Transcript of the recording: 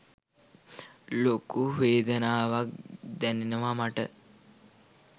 ලොකු වේදනාවක් දැනෙනවා මට.